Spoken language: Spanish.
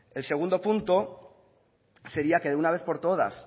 el segundo punto sería que de una vez por todas